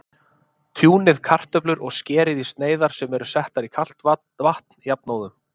Tjúnið kartöflur og skerið í sneiðar sem eru settar í kalt vatn jafnóðum.